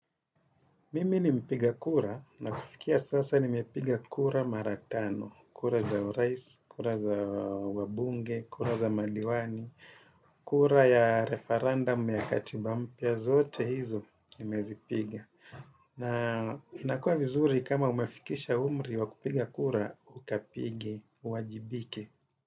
Mimi ni mpiga kura na kufikia sasa nimepiga kura mara tano, kura za urais, kura za wabunge, kura za madiwani, kura ya referendum ya katiba mpya, zote hizo nimezipiga. Na inakua vizuri kama umefikisha umri wa kupiga kura, ukapige, uwajibike.